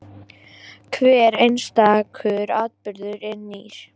Hver einstakur atburður er nýr.